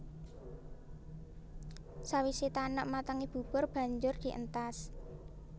Sawisé tanek matengé bubur banjur dientas